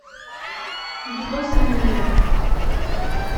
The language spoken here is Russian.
никитоса миллера